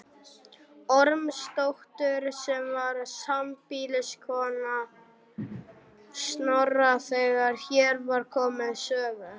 Ormsdóttur sem var sambýliskona Snorra þegar hér var komið sögu.